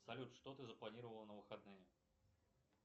салют что ты запланировала на выходные